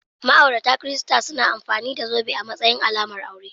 Ma'aurata kirista suna amfani da zobe a matsayin alamar aure.